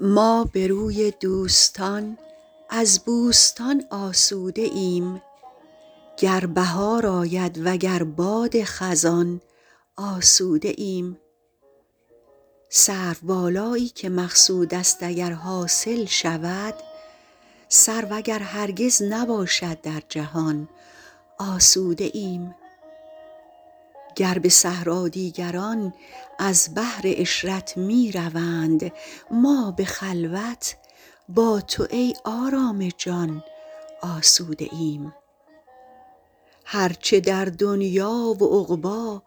ما به روی دوستان از بوستان آسوده ایم گر بهار آید وگر باد خزان آسوده ایم سروبالایی که مقصود است اگر حاصل شود سرو اگر هرگز نباشد در جهان آسوده ایم گر به صحرا دیگران از بهر عشرت می روند ما به خلوت با تو ای آرام جان آسوده ایم هر چه در دنیا و عقبی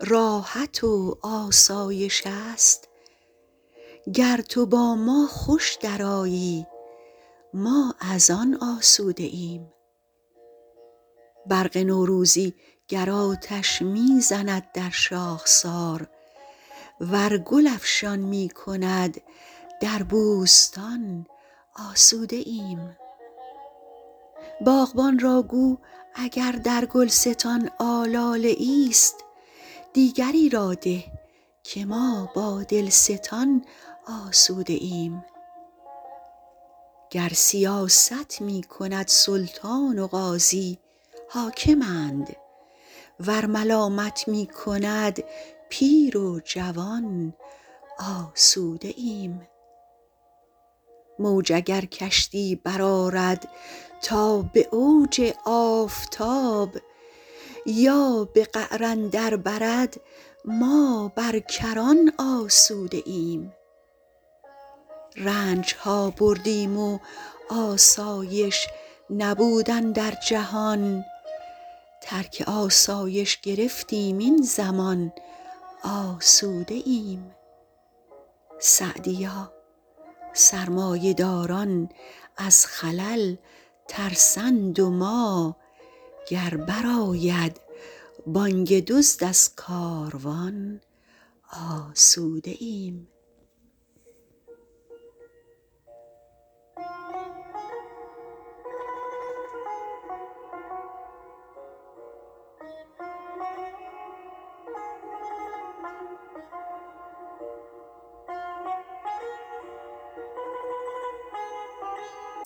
راحت و آسایش است گر تو با ما خوش درآیی ما از آن آسوده ایم برق نوروزی گر آتش می زند در شاخسار ور گل افشان می کند در بوستان آسوده ایم باغبان را گو اگر در گلستان آلاله ایست دیگری را ده که ما با دلستان آسوده ایم گر سیاست می کند سلطان و قاضی حاکمند ور ملامت می کند پیر و جوان آسوده ایم موج اگر کشتی برآرد تا به اوج آفتاب یا به قعر اندر برد ما بر کران آسوده ایم رنج ها بردیم و آسایش نبود اندر جهان ترک آسایش گرفتیم این زمان آسوده ایم سعدیا سرمایه داران از خلل ترسند و ما گر بر آید بانگ دزد از کاروان آسوده ایم